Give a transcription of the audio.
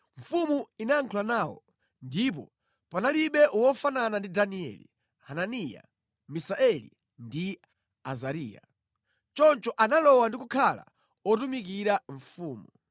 Mfumu inayankhula nawo, ndipo panalibe wofanana ndi Danieli; Hananiya Misaeli ndi Azariya; Choncho analowa ndi kukhala otumikira mfumu.